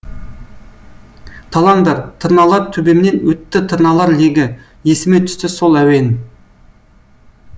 талаңдар тырналар төбемнен өтті тырналар легі есіме түсті сол әуен